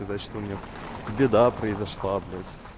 значит у меня беда произошла блять